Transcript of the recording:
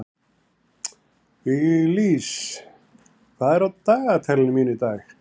Viglís, hvað er á dagatalinu mínu í dag?